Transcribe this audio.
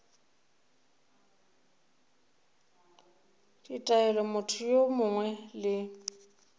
ditaelo motho yo mongwe le